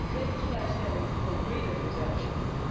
Dat heet de kwekersvrijstelling of breeders exemption